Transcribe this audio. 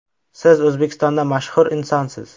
Siz O‘zbekistonda mashhur insonsiz.